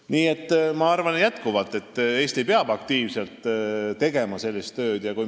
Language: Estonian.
Nii et ma arvan jätkuvalt, et Eesti peab aktiivselt sellist tööd tegema.